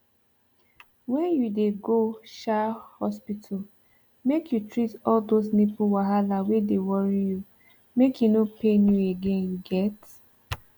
when you dey go um hospital make you treat all those nipple wahala wey dey worry you make e no pain you again you get